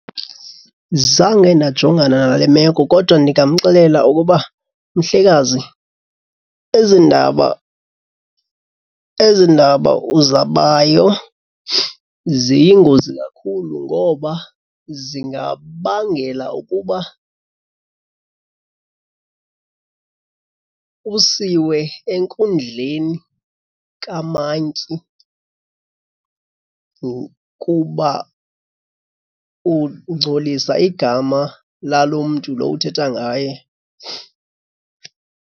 Zange ndajongana nale meko kodwa ndingamxelela ukuba mhlekazi, ezi ndaba ezi ndaba uzabayo ziyingozi kakhulu ngoba zingabangela ukuba usiwe enkundleni kamantyi kuba ungcolisa igama lalo mntu lo uthetha ngaye.